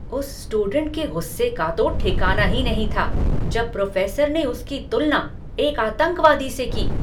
उस स्टूडेंट के गुस्से का तो ठिकाना ही नहीं था जब उस प्रोफेसर ने उसकी तुलना एक आतंकवादी से की।